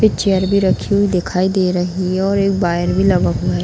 एक चेयर भी रखी हुई दिखाई दे रही है और एक वायर भी लगा हुआ है ।